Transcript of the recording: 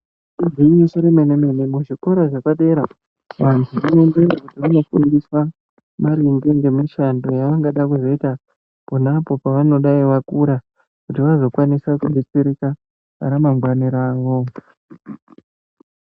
Igwinyiso remene-mene muzvikora zvepadera vantu vanomboenda vondofundiswa maringe ngemishando yavanenge veida kuzoita ponapo pavanodai vakura, kuti vazokwanisa kudetsereka ramangwani ravo.